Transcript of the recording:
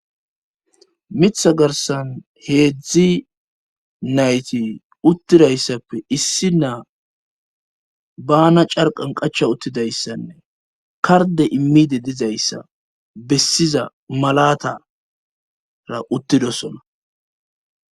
Miiththa garssan heedzdzu nayti uttidayssappe issi naa bana carqan qacha uttidayssanne karde immide dizayssa bessiza malatara uttidosona